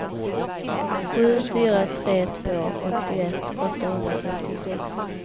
sju fyra tre två åttioett åttahundrafemtiosex